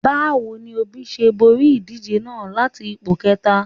Báwo ni Òbí ṣe borí ìdíje náà láti ipò kẹta?